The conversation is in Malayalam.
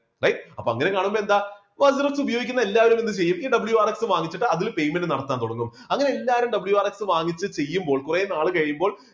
അല്ലേ? അപ്പൊ അങ്ങനെ കാണുമ്പോൾ എന്താ ഉപയോഗിക്കുന്ന എല്ലാവരും എന്ത് ചെയ്യും ഈ WRX വാങ്ങിച്ചിട്ട് അതിൽ payment നടത്താൻ തുടങ്ങും. അങ്ങനെ എല്ലാവരും WRX വാങ്ങിച്ചിട്ട് ചെയ്യുമ്പോൾ കുറെ നാൾ കഴിയുമ്പോൾ